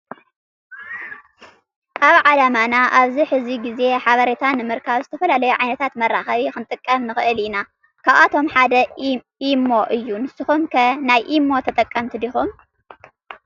አብ ዓለምና አብዚ ሕዚ ግዜ ሓበሬታ ንምርካብ ዝተፈላለዩ ዓይነታት መራከቢ ክንጥቀም ንክእለ ኢና ካብአቶም ሓደ ኢሞ እዩ። ንስኩም ከ ናይ ኢሞ ተጠቀመቲ ዲኩም?